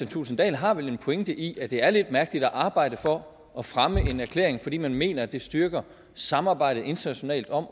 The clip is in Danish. thulesen dahl har vel en pointe i at det er lidt mærkeligt at arbejde for at fremme en erklæring fordi man mener at det styrker samarbejdet internationalt om